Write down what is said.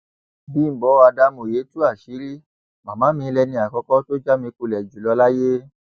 bímbọ adámòye tú àṣírí màmá mi lẹni àkọkọ tó já mi kulẹ jù lọ láyé